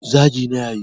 zagi na ya yi